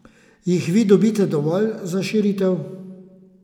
Jih vi dobite dovolj za širitev?